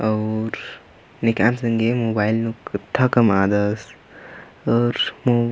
अऊर नेक्कआ संगे मोबाईल नु कुत्था कमआदस अऊर नु---